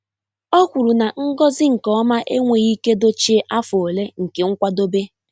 Ọ kwuru na ngọzi nke ọma enweghị ike dochie afọ ole nke nkwadebe.